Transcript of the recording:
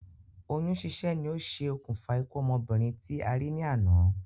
Oyún sísẹ́ ni o ṣe òkùnfà ikú ọmọbìnrin tí a rí ní àná